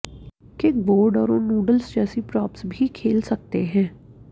kickboard और उन noodles जैसी प्रॉप्स भी खेल सकते हैं